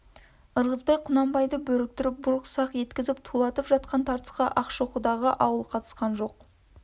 ырғызбай құнанбайды бөріктіріп бұрқ-сақ еткізіп тулатып жатқан тартысқа ақшоқыдағы ауыл қатысқан жоқ